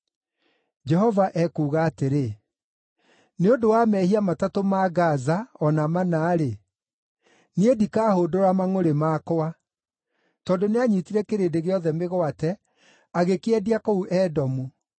Jehova ekuuga atĩrĩ: “Nĩ ũndũ wa mehia matatũ ma Gaza, o na mana-rĩ, niĩ ndikahũndũra mangʼũrĩ makwa. Tondũ nĩanyiitire kĩrĩndĩ gĩothe mĩgwate, agĩkĩendia kũu Edomu.